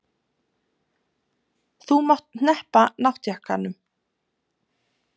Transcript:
Þú mátt hneppa náttjakkanum.